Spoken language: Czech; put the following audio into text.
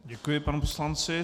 Děkuji panu poslanci.